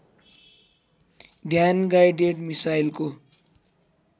ध्यान गाइडेड मिसाइलको